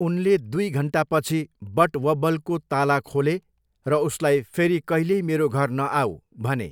उनले दुई घन्टापछि बटवब्बलको ताला खोले र उसलाई 'फेरि कहिल्यै मेरो घर नआऊ' भने।